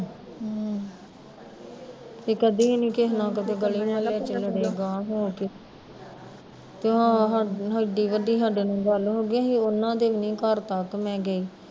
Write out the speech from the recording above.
ਤੇ ਕਦੀ ਵੀ ਨੀ ਕਿਸੇ ਨਾਲ਼ ਤੇ ਨਾ ਕਦੇ ਗਲੀਆ ਵਿੱਚ ਲੜੇ ਗਹਾ ਹੋ ਕੇ ਤੇ ਹਆ ਏਡੀ ਵੱਡੀ ਸਾਡੇ ਗੱਲ ਹੋਗੀ ਅਸੀਂ ਉਹਨਾਂ ਦੇ ਵੀ ਨੀ ਘਰ ਤੱਕ ਮੈਂ ਗਈ